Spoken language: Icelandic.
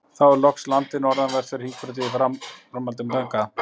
Þá er loks landið norðanvert við Hringbraut í áframhaldi af fyrrnefndri lóð.